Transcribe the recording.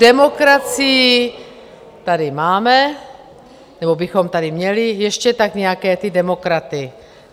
Demokracii tady máme nebo bychom tady měli, ještě tak nějaké ty demokraty.